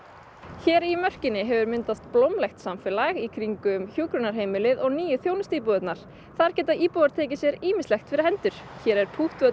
hér í mörkinni hefur myndast blómlegt samfélag í kringum hjúkrunarheimilið og nýju þjónustuíbúðirnar þar geta íbúar tekið sér ýmislegt fyrir hendur hér er